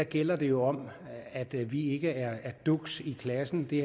gælder det jo om at vi ikke er duks i klassen det